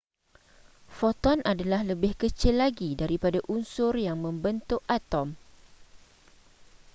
foton adalah lebih kecil lagi daripada unsur yang membentuk atom